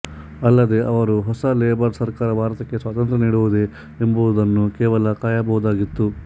ಅಲ್ಲದೇ ಅವರು ಹೊಸ ಲೇಬರ್ ಸರ್ಕಾರ ಭಾರತಕ್ಕೆ ಸ್ವಾತಂತ್ರ್ಯ ನೀಡುವುದೇ ಎಂಬುದನ್ನು ಕೇವಲ ಕಾಯಬಹುದಾಗಿತ್ತು